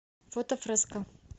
фото фреско